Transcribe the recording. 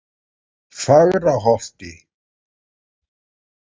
Fagraholti